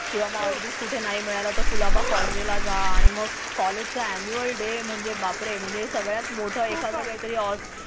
किंवा मग अगदीच कुठे नाही मिळाला तर कुलाबा कॉजवेला जा आणि मग कॉलेज ऍन्युअल डे म्हणजे बापरे म्हणजे सगळ्यात मोठा एखादा काहीतरी.